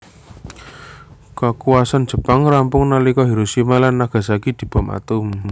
Kakuwasan Jepang rampung nalika Hiroshima lan Nagasaki dibom atom